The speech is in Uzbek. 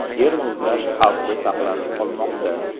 Yer muzlash xavfi saqlanib qolmoqda.